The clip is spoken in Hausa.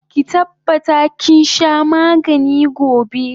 Ki tabbata kinsha magani gobe!